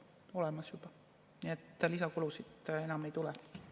On olemas juba, nii et lisakulusid enam ei tule.